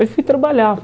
Aí fui trabalhar.